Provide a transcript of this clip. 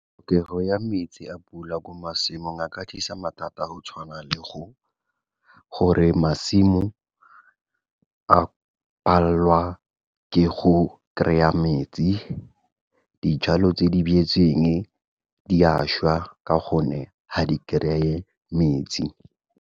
Tlhokego ya metsi a pula ko masimong a ka tlisa mathata a go tshwana le gore masimo a palelwa ke go kry-a metsi, dijalo tse di beetsweng di a šwa ka gonne ga di kry-e metsi.